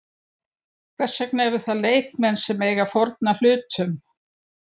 Hvers vegna eru það leikmenn sem eiga að fórna hlutum?